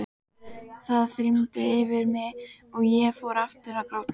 Það þyrmdi yfir mig og ég fór aftur að gráta.